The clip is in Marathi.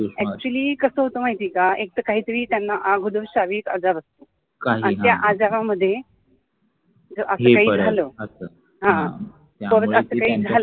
actually कसं होतंय माहिती का एकतर त्यांना काहीतरी अगोदर श्रविक आजार असेल त्या आजारामध्ये जर असं काही झालं.